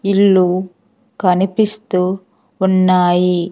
ఇల్లు కనిపిస్తూ ఉన్నాయి.